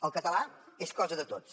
el català és cosa de tots